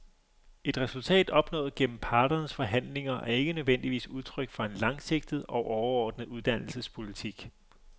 Et resultat opnået gennem parternes forhandlinger er ikke nødvendigvis udtryk for en langsigtet og overordnet uddannelsespolitik.